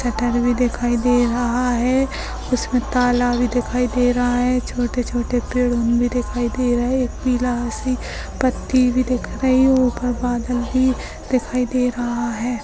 Shutter भी दिखाई दे रहा है इसमे ताला वी दिखाई रहा है छोटे-छोटे पेड़ भी दिखाई दे रहे है एक पीला हुई से पत्ति बी दिख रही ऊपर बादल भी दिखाई दे रहा है।